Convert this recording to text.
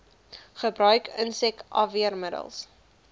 gebruik insek afweermiddels